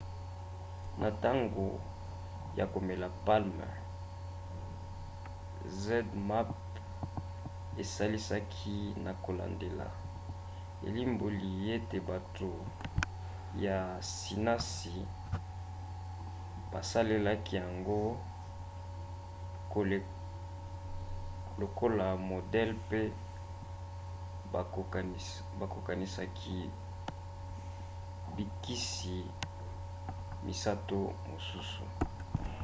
na ntango ya komeka palm zmapp esalisaki na kolandela elimboli ete bato ya sinasi basalelaki yango lokola modele pe bakokanisaki bikisi misato mosusu